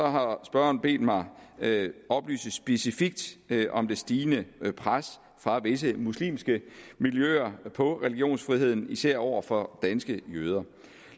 har spørgeren bedt mig oplyse specifikt om det stigende pres fra visse muslimske miljøer på religionsfriheden især over for danske jøder